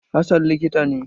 Hassan likita ne.